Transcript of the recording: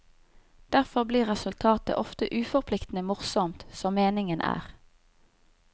Derfor blir resultatet ofte uforpliktende morsomt, som meningen er.